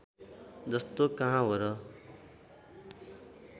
जस्तो कहाँ हो र